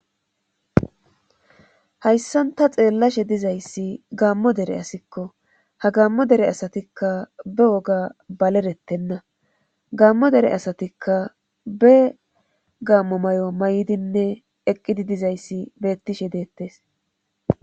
Hayssanta xeellashe dizayssi gaammo dere asikko ha gammo dere asatikka be woga balerettenna gammo dere asatikka be gammo may'o may'dinne eqqidi dizayssi beettishe deettes.